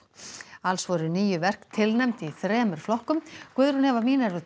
alls voru níu verk tilnefnd í þremur flokkum Guðrún Eva